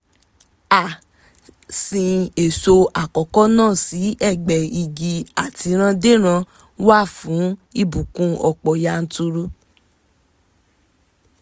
a sin èso àkọ́kọ́ náà sí ẹgbẹ́ igi àtìrandéran wa fún ìbùkún ọ̀pọ̀ yanturu